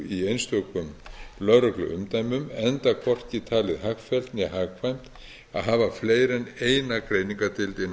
í einstökum lögregluumdæmum enda hvorki talið hagfellt né hagkvæmt að hafa fleiri en eina greiningardeild innan lögreglunnar enda